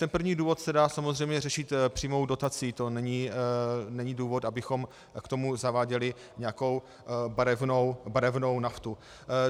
Ten první důvod se dá samozřejmě řešit přímou dotací, to není důvod, abychom k tomu zaváděli nějakou barevnou naftu.